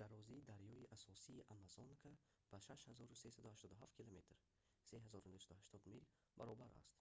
дарозии дарёи асосии амазонка ба 6 387 км 3 980 мил баробар аст.